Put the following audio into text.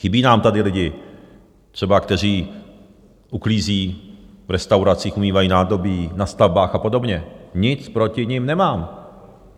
Chybí nám tady lidi třeba, kteří uklízí v restauracích, umývají nádobí, na stavbách a podobně, nic proti nim nemám.